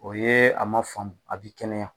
O ye a ma faamu a bi kɛnɛya